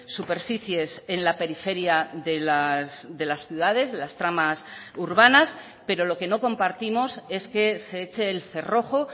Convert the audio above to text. superficies en la periferia de las ciudades de las tramas urbanas pero lo que no compartimos es que se eche el cerrojo